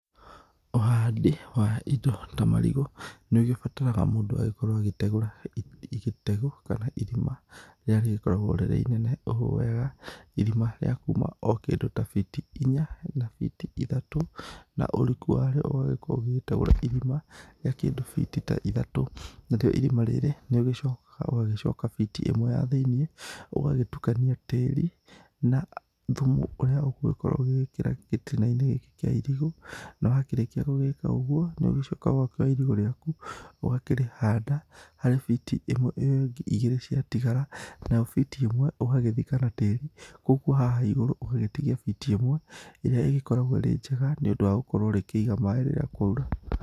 Ũhandi wa ĩndo ta marigũ nĩũgĩbataraga mũndũ akorwo agĩtegũra ĩtegũ kana ĩrima rĩrĩa rĩgĩkoragwo rĩrĩ inene ũũ wega, ĩrima rĩa kuma ũ kĩndũ ta biti inya na biti ĩthatũ na ũriku warĩo ũgagĩkorwo ũgĩgĩtegũra ĩrima rĩa kĩndũ biti ta ithatũ narĩo ĩrima rĩrĩ nĩrĩgĩcokaga ũgacoka biti ĩmwe ya thĩiniĩ ũgagĩtukania tĩri na thumu ũrĩa ũgũkorwo ũgĩgĩkĩra gĩtina-inĩ gĩkĩ kĩa ĩrigũ na wakĩrĩkia gũgĩkĩra ũguo nĩ ũgĩcokaga ũgakĩoya ĩrigũ rĩaku ũgakĩrĩhanda harĩ biti ĩmwe ĩyo ĩngĩ ĩgĩrĩ ciatigara nayo biti ĩmwe ũgagĩthika na tĩri, koguo haha ĩgũrũ ũgagĩtigia biti ĩmwe ĩrĩa ĩgĩkoragwo ĩrĩ njega nĩ ũndũ wa gũkorwo rĩngĩ rĩkĩiga maĩ rĩrĩa kwaura.